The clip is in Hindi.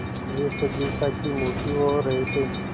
वे सजीवता की मूर्ति हो रहे थे